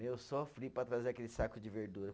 Meu, sofri para trazer aquele saco de verdura.